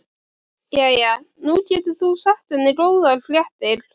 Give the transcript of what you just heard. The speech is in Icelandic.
Jæja, nú getur þú þá sagt henni góðar fréttir.